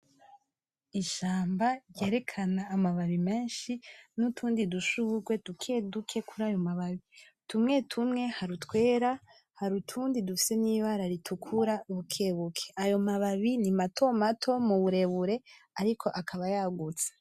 Ishamba ryerekana amababi meshi n’utundi dushurwe dukeduke kurayo mababi, tumwe hari utwera ,hari utundi dufise n’ibara ritukura bukebuke ayo mababi ni matomato mu burebure ariko akaba yagutse.